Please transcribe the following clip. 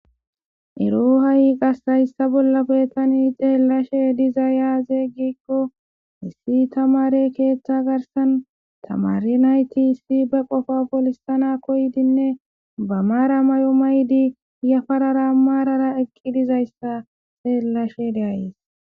Ero ha'i qas haysa bollappe tan xelashe dizay aze gikko tamare ketha garsan tamare nayt be qopa polisana koyidinne ba mara mayo mayid yafarara marara eqi dizaysa xelashe de'ays.